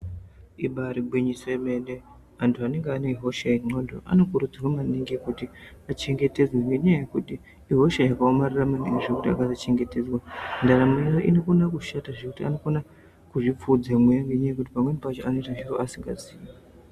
Ibari gwinyiso yemene antu anenge ane hosha yen'ondo vanokurudzirwe maningi kuti vachengetedzwe ngendaa yekuti ihosha yakaomarara maningi zvekuti akasachengetedzwa ndaramo yavo inokone kushata zvekuti anokone kuzvipfuudza asingazivi.